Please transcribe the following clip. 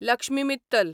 Lakshmi Mittal